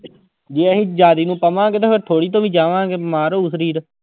ਜੇ ਅਸੀਂ ਜ਼ਿਆਦੇ ਨੂੰ ਪਵਾਂਗੇ ਤੇ ਫਿਰ ਥੋੜ੍ਹੀ ਤੋਂ ਵੀ ਜਾਵਾਂਗੇ ਬਿਮਾਰ ਹੋਊ ਸਰੀਰ।